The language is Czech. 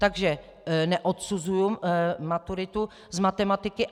Takže neodsuzuji maturitu z matematiky.